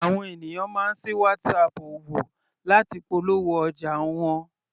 Àwọn ènìyàn máa ń sí Whatsapp òwò láti polówó ọjà wọn.